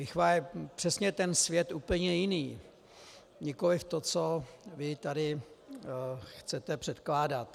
Lichva je přesně ten svět úplně jiný, nikoliv to, co vy tady chcete předkládat.